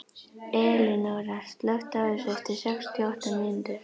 Elinóra, slökktu á þessu eftir sextíu og átta mínútur.